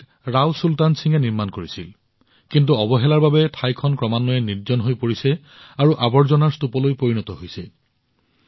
ইয়াক ৰাও চুলতান সিঙে নিৰ্মাণ কৰিছিল কিন্তু অৱহেলাৰ বাবে ঠাইটুকুৰা ক্ৰমান্বয়ে নিৰ্জন হৈ পৰিছে আৰু আৱৰ্জনাৰ স্তূপলৈ পৰিণত হৈছে